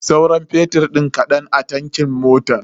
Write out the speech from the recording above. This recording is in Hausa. Sauran fetur din kadan ne a tankin motan.